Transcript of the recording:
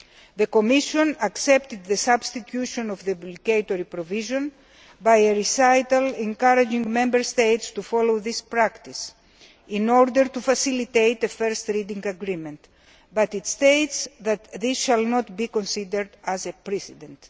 The Commission accepted the substitution of the obligatory provision by a recital encouraging Member States to follow this practice in order to facilitate a first reading agreement, but it states that this should not be seen to be a precedent.